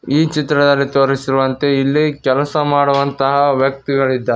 ಈ ಚಿತ್ರದಲ್ಲಿ ತೋರಿಸಿರುವಂತೆ ಇಲ್ಲಿ ಕೆಲಸ ಮಾಡುವಂತಹ ವ್ಯಕ್ತಿಗಳಿದ್ದಾ--